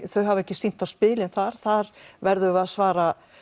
þau hafa ekki sýnt á spilin þar þar verðum við að svara